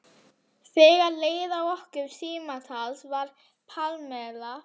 Þegar leið að lokum símtalsins var Pamela